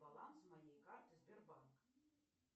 баланс моей карты сбербанк